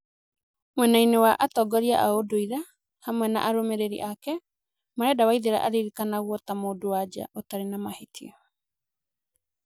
Mwenainĩ wa atongorĩa a ũndũire, hamwe na arũmĩrĩri ake, marenda Waithera aririkanagwo ta mundu-wa-nja ũtarĩ na mahĩtia.